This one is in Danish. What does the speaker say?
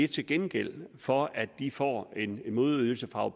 til gengæld for at de får en modydelse fra